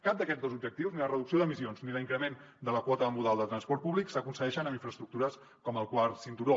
cap d’aquests dos objectius ni la reducció d’emissions ni l’increment de la quota modal de transport públic s’aconsegueix amb infraestructures com el quart cinturó